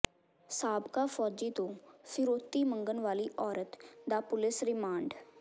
ਸਾਬਕਾ ਫੌਜੀ ਤੋਂ ਫਿਰੌਤੀ ਮੰਗਣ ਵਾਲੀ ਔਰਤ ਦਾ ਪੁਲੀਸ ਰਿਮਾਂਡ